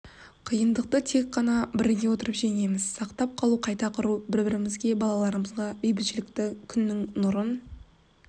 қиындықты тек қана біріге отырып жеңеміз сақтап қалу қайта құру бір-бірімізге балаларымызға бейбітшілікті күннің нұрын